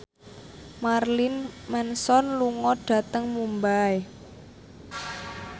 Marilyn Manson lunga dhateng Mumbai